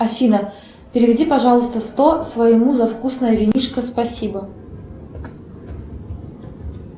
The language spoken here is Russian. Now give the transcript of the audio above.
афина переведи пожалуйста сто своему за вкусное винишко спасибо